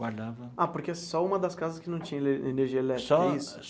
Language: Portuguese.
Guardava... Ah, porque só uma das casas que não tinha ene energia elétrica, é isso? Só.